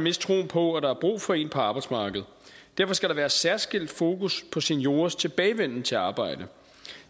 miste troen på at der er brug for en på arbejdsmarkedet derfor skal der være særskilt fokus på seniorers tilbagevenden til arbejdet